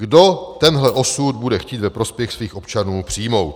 Kdo tenhle osud bude chtít ve prospěch svých občanů přijmout?"